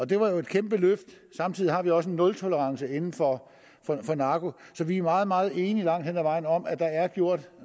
det var et kæmpe løft samtidig har vi også en nultolerance inden for narko så vi er meget meget enige langt hen ad vejen om at der er gjort